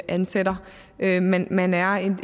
ansætter men man man er